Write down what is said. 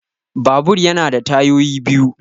Babur ya na da tayoyi biyu